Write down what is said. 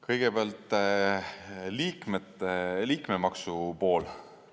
Kõigepealt liikmemaksu pool.